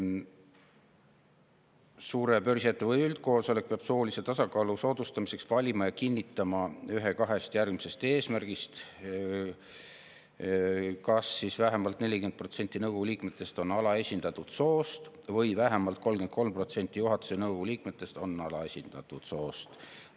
Suure börsiettevõtte üldkoosolek peab soolise tasakaalu soodustamiseks valima ja kinnitama ühe kahest järgmisest eesmärgist: vähemalt 40% nõukogu liikmetest on alaesindatud soost või vähemalt 33% juhatuse ja nõukogu liikmetest on alaesindatud soost.